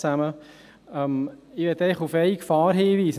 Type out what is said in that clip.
Ich möchte auf eine Gefahr hinweisen: